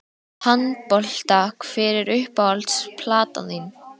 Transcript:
Handbolta Hver er uppáhalds platan þín?